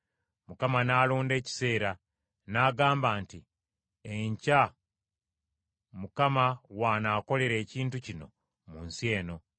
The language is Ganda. Mukama n’alonda ekiseera, n’agamba nti, “Enkya Mukama w’anaakolera ekintu kino mu nsi eno.”